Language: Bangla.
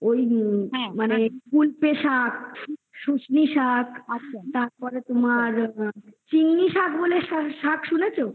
মানে কুল্পে শাক সুস্মি শাক তারপরে তোমার চিঙি শাক বলে একটা শাক শাক শুনেছ চিঙি শাক